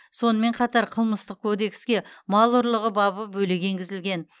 сонымен қатар қылмыстық кодекске мал ұрлығы бабы бөлек енгізілген